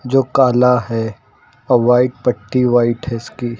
जो काला है और व्हाइट पट्टी व्हाइट है इसकी।